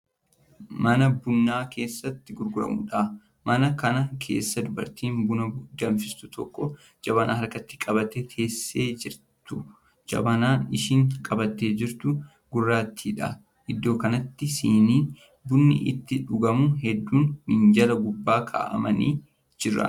Mana bunni keessatti gurguramudha. mana Kana keessa dubartiin bu na danfistu tokko jabanaa harkatti qabattee teessee jirtu. jabanaan isheen qabattee jirtu gurraattiidha. iddoo kanatti siinii bunni ittiin dhugamu hudduun minjaala gubbaa kaa'amanii Jiran.